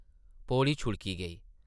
पौड़ी छुड़की गेई ।